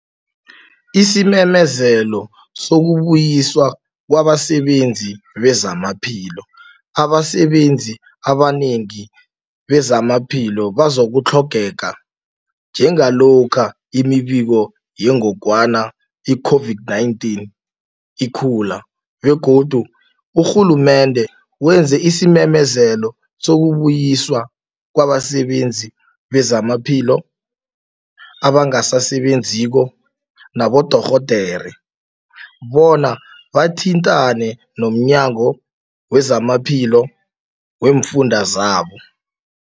Isimemezelo Sokubuyiswa Kwabasebenzi Bezamaphilo Abasebenzi abanengi bezamaphilo bazokutlhogeka njengalokha imibiko yengogwana i-COVID-19 ikhula begodu urhulumende wenze isimemezelo sokubuyiswa kwabasebenzi bezamaphilo abangasasebenziko nabodorhodere bona bathintane nomnyango wezamaphilo weemfunda zabo.